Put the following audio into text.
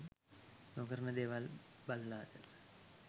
නොකරන දේවල් බලලද?